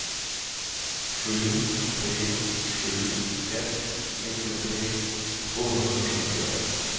sju tre sju ett nittiotre tvåhundrasjuttioett